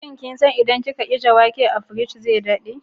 Shin kin san cewa idan kin ajiye wake a cikin firiji zai dade?